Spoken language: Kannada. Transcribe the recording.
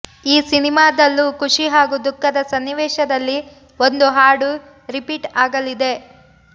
ಈ ಸಿನಿಮಾದಲ್ಲೂ ಖುಷಿ ಹಾಗೂ ದುಃಖದ ಸನ್ನಿವೇಶದಲ್ಲಿ ಒಂದು ಹಾಡು ರಿಪೀಟ್ ಆಗಲಿದೆ